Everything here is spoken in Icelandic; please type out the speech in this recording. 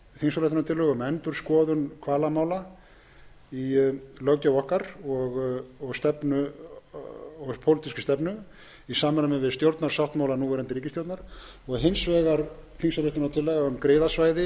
þingsályktunartillögur um endurskoðun hvalamála í löggjöf okkar og pólitískri stefnu í samræmi við stjórnarsáttmála núverandi ríkisstjórnar og hins vegar þingsályktunartillaga um griðasvæði